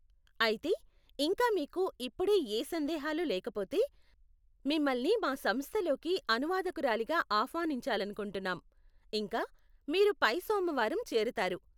అయితే, ఇంకా మీకు ఇప్పుడే ఏ సందేహాలు లేకపోతే, మిమ్మల్ని మా సంస్థలోకి అనువాదకురాలిగా ఆహ్వానించాలనుకుంటున్నాం, ఇంకా, మీరు పై సోమవారం చేరతారు.